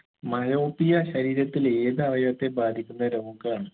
myopia ശരീരത്തിലെ ഏത് അവയവത്തെ ബാധിക്കുന്ന രോഗാണ്